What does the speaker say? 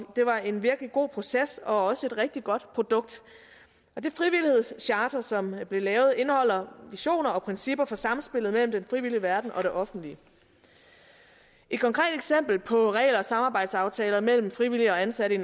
det var en virkelig god proces og også et rigtig godt produkt det frivillighedscharter som blev lavet indeholder visioner og principper for samspillet mellem den frivillige verden og det offentlige et konkret eksempel på regler og samarbejdsaftaler mellem frivillige og ansatte